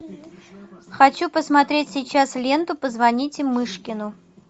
хочу посмотреть сейчас ленту позвоните мышкину